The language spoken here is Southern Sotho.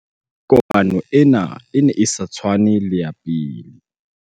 kopano ena e ne e sa tshwane le ya pele